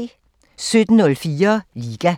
17:04: Liga